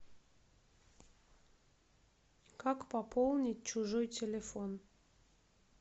как пополнить чужой телефон